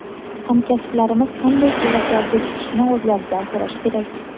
Hamkasblarimiz qanday quvvatlarga chiqishini o‘zlaridan so‘rash kerak.